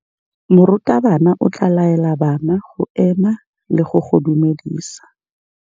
Morutabana o tla laela bana go ema le go go dumedisa.